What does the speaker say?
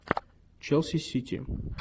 челси сити